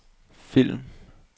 film